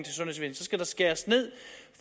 skal der skæres ned